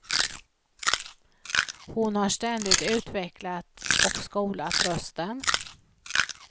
Hon har ständigt utvecklat och skolat rösten.